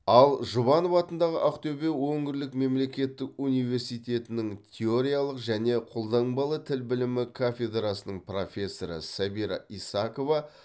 ал жұбанов атындағы ақтөбе өңірлік мемлекеттік университетінің теориялық және қолданбалы тіл білімі кафедрасының профессоры сәбира исакова